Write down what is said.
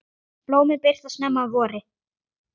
Blómin birtast snemma að vori.